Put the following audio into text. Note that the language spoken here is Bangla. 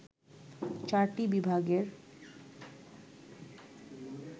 চারটি বিভাগের